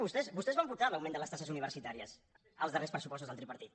vostès vostès van votar l’aug·ment de les taxes universitàries als darrers pressupos·tos del tripartit